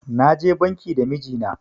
Na je banki da miji na